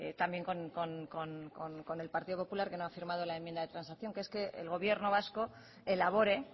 también con elpartido popular que no ha firmado la enmienda de transacción que es que el gobierno vasco elabore